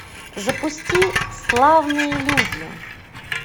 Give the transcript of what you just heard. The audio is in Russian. запусти славные люди